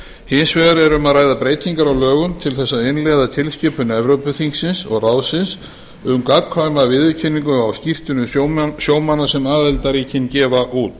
hins vegar er um að ræða breytingar á lögum til að innleiða tilskipun evrópuþingsins og evrópuráðsins um gagnkvæma viðurkenningu á skírteinum sjómanna sem aðildarríkin gefa út